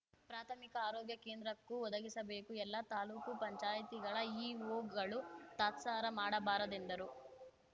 ಪ್ರಾಥಮಿಕ ಆರೋಗ್ಯ ಕೇಂದ್ರಕ್ಕೂ ಒದಗಿಸಬೇಕು ಎಲ್ಲ ತಾಲೂಕು ಪಂಚಾಯತಿ ಇಒಗಳು ತಾತ್ಸಾರ ಮಾಡಬಾರದೆಂದರು